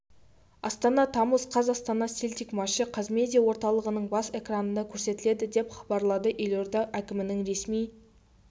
астана тамыз қаз астана селтик матчы қазмедиа орталығының бас экранынан көрсетіледі деп хабарлады елорда әкімінің ресми